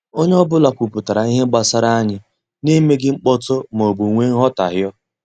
Onye ọ bụla kwupụtara ihe gbasara anyị na emeghị mkpọtụ maọbụ wee nghotahio